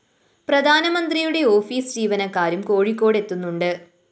പ്രധാനമന്ത്രിയുടെ ഓഫീസ്‌ ജീവനക്കാരും കോഴിക്കോട് എത്തുന്നുണ്ട്